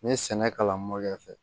N ye sɛnɛ kalan kɛ